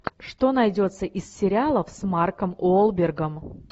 что найдется из сериалов с марком уолбергом